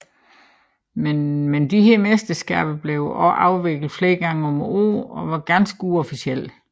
Men disse mesterskaber blev også afviklet flere gange om året og var ganske uofficielle